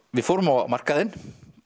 við fórum á markaðinn